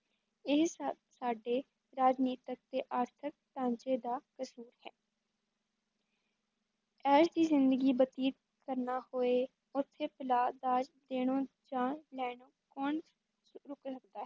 ਇਹ ਸਭ ਸਾਡੇ ਰਾਜਨੀਤਕ ਤੇ ਆਰਥਿਕ ਢਾਂਚੇ ਦਾ ਕਸ਼ੂਰ ਹੈ ਇਹ ਜਿਹੀ ਜ਼ਿੰਦਗੀ ਬਤੀਤ ਕਰਨਾ ਹੋਏ ਉੱਥੇ ਦਾਜ ਦੇਣਾ ਜਾਂ ਲੈਣਾ ਕੌਣ ਰੁੱਕ ਸਕਦਾ ਹੈ।